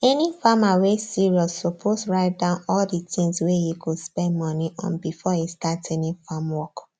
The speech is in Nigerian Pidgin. any farmer wey serious suppose write down all the things wey e go spend money on before e start any farm work